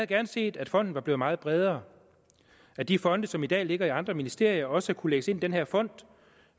gerne set at fonden var blevet meget bredere at de fonde som i dag ligger i andre ministerier også kunne lægges ind i den her fond